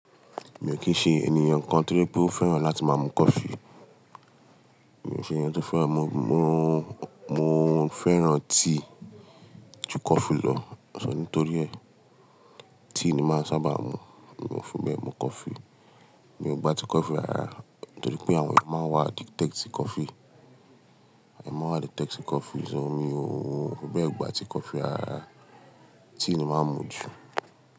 Mi ò kí ń ṣe ènìyàn kan to jẹ pé ó fẹ́ràn láti máa mu coffee. Mi ò ṣe ènìyàn tó fẹ́ràn mu-- mo, mo fẹ́ràn tíí ju coffee lọ, ṣọ nítorí ẹ́, tíí ni màá sábà mu, mi ò fi bẹ́ẹ̀ mu coffee. Mi ò gba ti coffee rara, torí pé àwọn èèyàn máa ń wa addicted sí coffee. Àwọn èèyàn máa ń wa addicted sí coffee, ṣọ mi ò, bẹ́ẹ̀ gbà ti coffee rara, tíí ni màá mu jù.